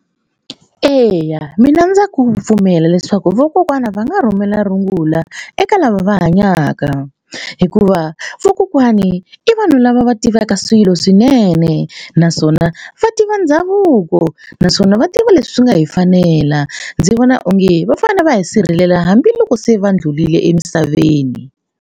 Eya mina ndza ku pfumela leswaku vakokwana va nga rhumela rungula eka lava va hanyaka hikuva vakokwani i vanhu lava va tivaka swilo swinene naswona va tiva ndhavuko naswona va tiva leswi swi nga hi fanela ndzi vona onge va fanele va hi sirhelela hambiloko se va ndlhulile emisaveni.